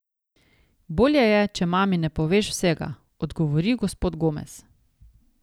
Bolje je, če mami ne poveš vsega, odgovori gospod Gomez.